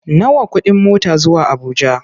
Nawa kuɗin mota zuwa Abuja?